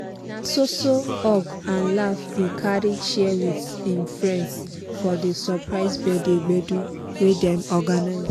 na so so hug and laff he carry share with him friends for di surprise birthday gbedu wey dem organize.